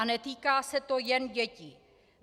A netýká se to jen dětí.